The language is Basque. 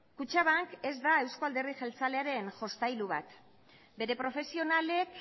kutxabank ez da euzko alderdi jeltzalearen jostailu bat bere profesionalek